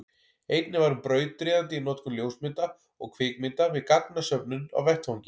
einnig var hún brautryðjandi í notkun ljósmynda og kvikmynda við gagnasöfnun á vettvangi